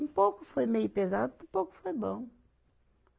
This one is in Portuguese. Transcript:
Um pouco foi meio pesado, mas um pouco foi bom.